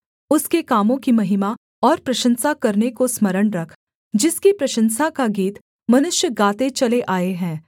उसके कामों की महिमा और प्रशंसा करने को स्मरण रख जिसकी प्रशंसा का गीत मनुष्य गाते चले आए हैं